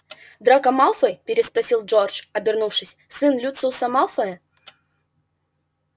драко малфой переспросил джордж обернувшись сын люциуса малфоя